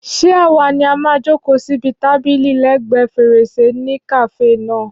Ṣé àwa ni a máa jòkó síbi tábìlì lẹ́ẹ̀gbẹ́ fèrèsé ní kàáfè náà?